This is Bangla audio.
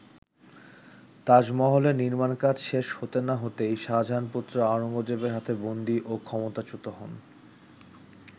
তাজমহলের নির্মাণ কাজ শেষ হতে না হতেই শাহজাহান-পুত্র আওরঙ্গজেবের হাতে বন্দী ও ক্ষমতাচ্যুত হন।